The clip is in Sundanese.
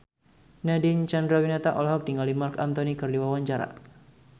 Nadine Chandrawinata olohok ningali Marc Anthony keur diwawancara